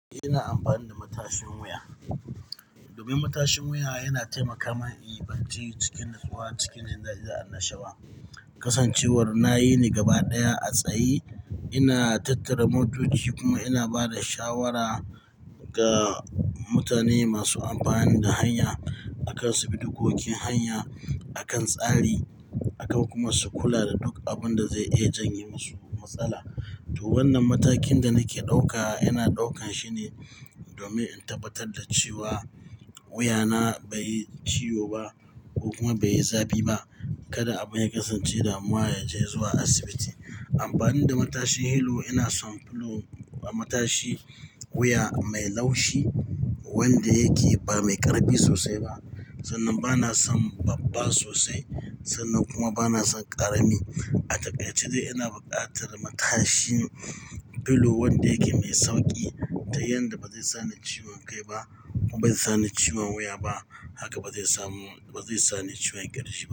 Ina amfani da matashin wuya. Domin matashin wuya yana taimaka mani bacci cikin nutsuwa, cikin jin dadi annashawa. Kasancewar na yi ne gaba ɗaya a tsayi, ina tattara motoci kuma ina ba da shawara ga mutane masu amfani da hanya akan su bi dikokin hanya akan tsari, akan kuma su kula da duk abin da zai iya janye masu matsala. To wannan matakin da nake ɗauka, yana ɗaukan shine domin in tabbatar da cewa wuya na bai yi ciwo ba ko kuma bai yi zafi ba. Kada abin ya kasance damuwa ya je zuwa asibiti. Amfani da matashin pillow, ina son pillow, matashi wuya mai laushi wanda yake ba mai ƙarfi sosai ba. Sannan bana son babba sosai sannan kuma bana son ƙarami. A takaice ina buƙatar matashi pillow wanda yake mai sauƙi ta yanda ba zai sani ciwon kai ba kuma bai sani ciwon wuya ba. Haka ba zai samu, ba zai sani ciwon ƙirji.